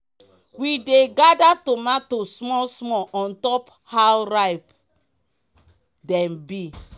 we dey gather tomato small small ontop how ripe dem be.